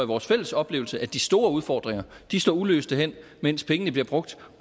vores fælles oplevelse at de store udfordringer står uløste hen mens pengene bliver brugt